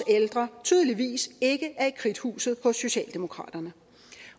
ældre tydeligvis ikke er i kridthuset hos socialdemokraterne